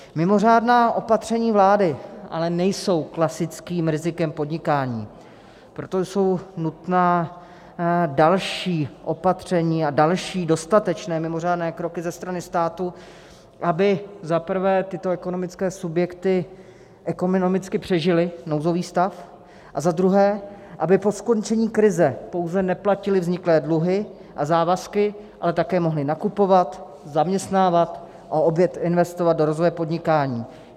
Mimořádná opatření vlády ale nejsou klasickým rizikem podnikání, proto jsou nutná další opatření a další dostatečné mimořádné kroky ze strany státu, aby za prvé tyto ekonomické subjekty ekonomicky přežily nouzový stav, a za druhé, aby po skončení krize pouze neplatily vzniklé dluhy a závazky, ale také mohly nakupovat, zaměstnávat a opět investovat do rozvoje podnikání.